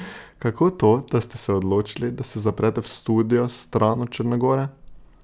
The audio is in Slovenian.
Kako to, da ste se odločili, da se zaprete v studio stran od Črne gore?